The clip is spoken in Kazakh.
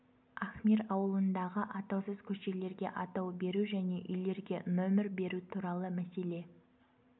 ахмир ауылындағы атаусыз көшелерге атау беру және үйлерге нөмір беру туралы мәселе